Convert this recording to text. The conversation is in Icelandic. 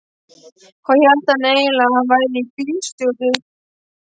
Hvað hélt hann eiginlega að hann væri þessi bílstjóri.